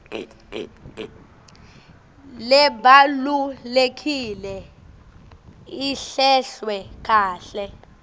lebalulekile ihlelwe kahle